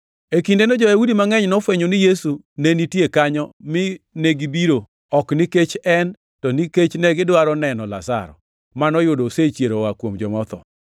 E kindeno, jo-Yahudi mangʼeny nofwenyo ni Yesu ne nitie kanyo mi negibiro, ok nikech en, to nikech negidwaro neno Lazaro, manoyudo osechiero oa kuom joma otho.